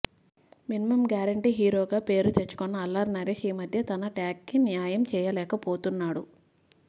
minimum guarantee హీరోగా పేరు తెచ్చుకున్న అల్లరి నరేష్ ఈమధ్య తన ట్యాగ్కి న్యాయం చేయలేకపోతున్నాడు